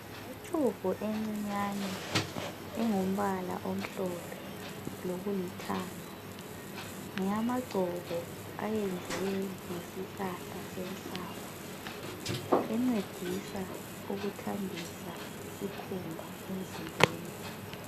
Itshubhu encinyane engumbala omhlophe lokulithanga. Ngeyamagcobo ayenziwe ngesihlahla senhlaba. Encedisa ukuhambisa isikhumba emzimbeni.